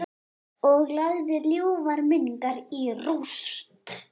Og lagði ljúfar minningar í rúst.